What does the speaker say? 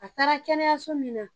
A taara kɛnɛyaso min na.